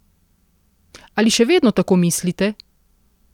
Ali še vedno tako mislite?